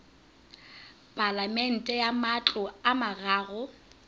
palamente ya matlo a mararo